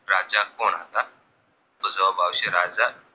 તો જવાબ આવશે રાજા